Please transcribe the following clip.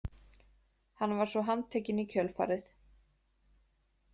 Hann var svo handtekinn í kjölfarið